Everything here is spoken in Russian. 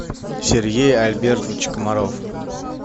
сергей альбертович комаров